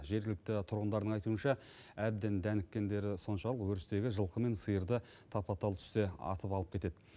жергілікті тұрғындардың айтуынша әбден дәніккендері соншалық өрістегі жылқы мен сиырды тапа тал түсте атып алып кетеді